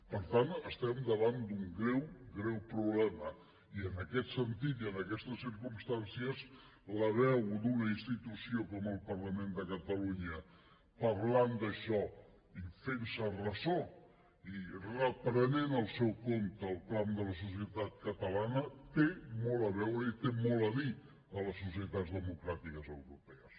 per tant estem davant d’un greu greu problema i en aquest sentit i en aquestes circumstàncies la veu d’una institució com el parlament de catalunya parlant d’això i fentse’n ressò i reprenent pel seu compte el clam de la societat catalana té molt a veure i té molt a dir a les societats democràtiques europees